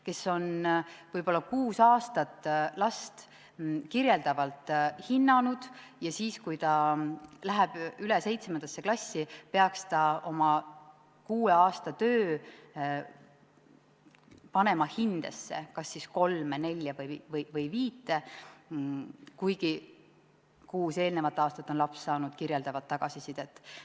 Nad on võib-olla kuus aastat last kirjeldavalt hinnanud ja siis, kui ta läheb 7. klassi, tuleks tema kuue aasta töö panna hindesse, kas see on siis kolm, neli või viis, kuigi kuus eelnevat aastat on laps saanud kirjeldavat tagasisidet.